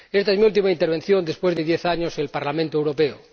Esta es mi última intervención después de diez años en el Parlamento Europeo.